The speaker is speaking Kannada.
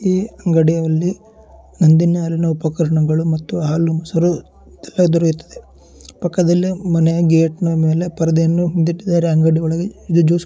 ಈ ಅಂಗಡಿಯಲ್ಲಿ ನಂದಿನಿ ಹಾಲಿನ ಉಪಕರಣಗಳು ಮತ್ತು ಹಾಲು-ಮೊಸರು ಎಲ್ಲಾ ದೊರೆಯುತ್ತದೆ. ಪಕ್ಕದಲ್ಲಿ ಮನೆ ಗೇಟ್ ನ ಮೇಲೆ ಪರದೆಯನ್ನು ಹಿಂದಿಟ್ಟಿದರೆ ಅಂಗಡಿವಳಗೆ ಜ್ಯೂಸು --